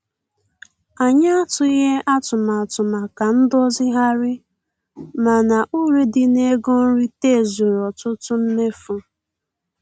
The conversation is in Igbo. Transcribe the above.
Anyị atụghị atụmatụ maka ndozigharị, mana uru dị n'ego nrite zuru ọtụtụ mmefu.